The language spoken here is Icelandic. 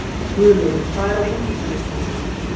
Guðlaugur, hvað er á innkaupalistanum mínum?